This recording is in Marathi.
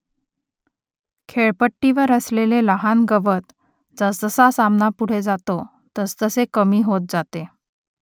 खेळपट्टीवर असलेले लहान गवत जसजसा सामना पुढे जातो तसतसे कमी होत जाते